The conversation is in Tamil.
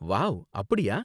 வாவ், அப்படியா?